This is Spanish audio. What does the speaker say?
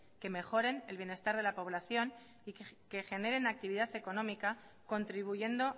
que mejoren el bienestar de la población y que generen actividad económica contribuyendo